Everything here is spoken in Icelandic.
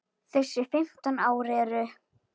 Þessi fimm ár eru